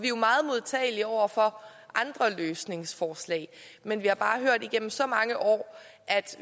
jo meget modtagelige over for andre løsningsforslag men vi har bare hørt igennem så mange år at